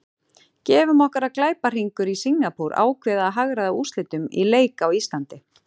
Gefum okkur að glæpahringur í Singapúr ákveði að hagræða úrslitum í leik á Íslandi.